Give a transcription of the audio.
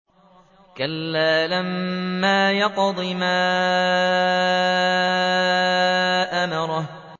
كَلَّا لَمَّا يَقْضِ مَا أَمَرَهُ